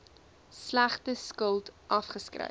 slegte skuld afgeskryf